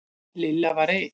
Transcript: Lilla var reið.